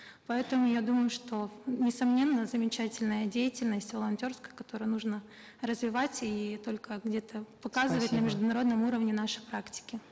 поэтому я думаю что несомненно замечательная деятельность волонтерская которую нужно развивать и только где то показывать на международном уровне наши практики